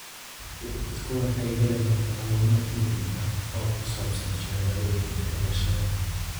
Dadku waxay helayaan macluumaad muhiim ah oo ku saabsan shahaadooyinka dhalashada.